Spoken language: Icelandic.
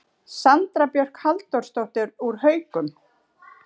Sandra Björk Halldórsdóttir úr Haukum